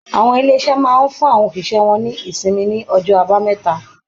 Àwọn ilé-iṣẹ́ máa ń fún àwọn òṣìṣẹ́ wọn ní ìṣịnmi ní ọjọ́ Àbámẹ́ta.